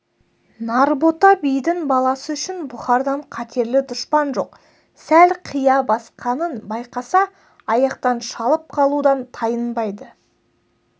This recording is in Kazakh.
нарбота бидің баласы үшін бұхардан қатерлі дұшпан жоқ сәл қия басқанын байқаса аяқтан шалып қалудан тайынбайды